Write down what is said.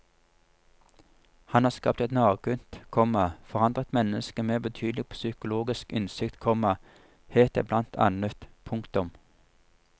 Han har skapt et nakent, komma forandret menneske med betydelig psykologisk innsikt, komma het det blant annet. punktum